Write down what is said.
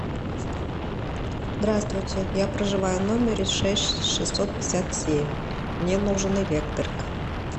здравствуйте я проживаю в номере шесть шестьсот пятьдесят семь мне нужен электрик